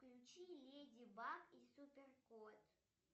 включи леди баг и супер кот